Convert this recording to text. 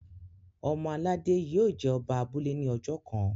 ọmọ aládé yio jé Oba abúlé ní ojó kán.